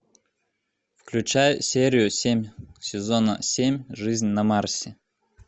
включай серию семь сезона семь жизнь на марсе